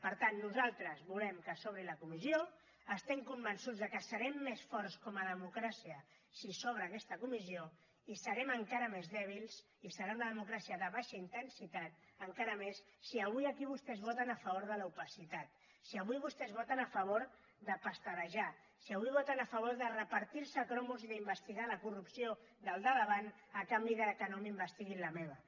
per tant nosaltres volem que s’obri la comissió estem convençuts que serem més forts com a democràcia si s’obre aquesta comissió i serem encara més dèbils i serà una democràcia de baixa intensitat encara més si avui aquí vostès voten a favor de l’opacitat si avui vostès voten a favor de pasterejar si avui voten a favor de repartir se cromos i d’investigar la corrupció del de davant a canvi que no m’investiguin la meva